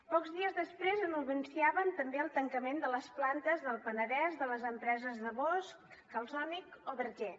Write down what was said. pocs dies després anunciaven també el tancament de les plantes del penedès de les empreses de bosch calsonic o bergé